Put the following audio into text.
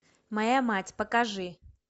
моя мать покажи